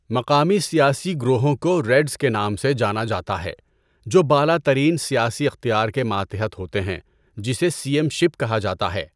مقامی سیاسی گروہوں کو ریڈزکے نام سے جانا جاتا ہے، جو بالا ترین سیاسی اختیار کے ماتحت ہوتے ہیں جسے سئیم شپ کہا جاتا ہے۔